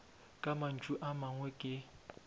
ka mantšu a mangwe ke